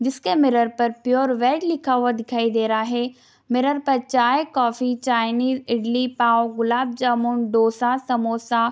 जिसके मिरर पर pure veg लिखा हुआ दिखाई दे रहा है | मिरर पर चाय कॉफ़ी चाइनीज़ इडली पाओ गुलाब जामुन डोसा समोसा --